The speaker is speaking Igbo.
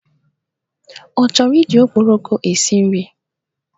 Ọ chọrọ iji okporoko esi nri?